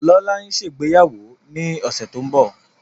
Lọla nṣe ìgbéyàwó ní ọsẹ tó ńbo.